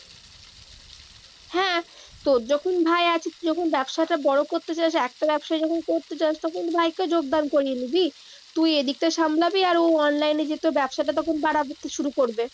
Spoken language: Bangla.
হ্যাঁ, তোর যখন ভাই আছে, তুই যখন ব্যবসাটা বড় করতে চাস একটা বেবসায়ী যখন করতে চাস, তখন ভাইকে যোগদান করিয়ে নিবি। তুই এদিকটা সামলাবি আর ও online এ যেহেতু তোর ব্যবসাটা তখন বারা করতে শুরু করবে।